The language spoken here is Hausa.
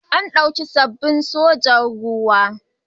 An ɗauki sabbin sojojin ruwa.